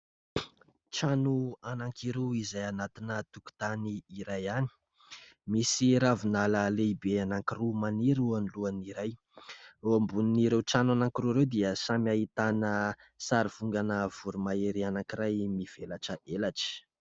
Trano anankiroa izay anatina tokontany iray ihany; misy ravinala lehibe anankiroa maniry eo anolohan'ny iray ; eo ambonin'ireo trano anankiroa ireo dia samy ahitana sarivongana voromahery anankiray mivelatra elatra.